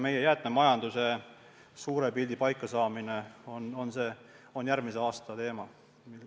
Jäätmemajanduse suure pildi paikasaamine on järgmise aasta teema.